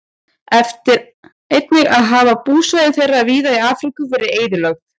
Einnig hafa búsvæði þeirra víða í Afríku verið eyðilögð.